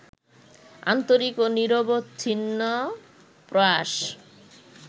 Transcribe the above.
আন্তরিক ও নিরবচ্ছিন্ন প্রয়াস